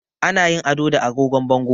Ana yin ado da agogon bango